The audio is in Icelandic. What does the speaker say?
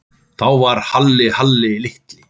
Þá var Halli Halli litli.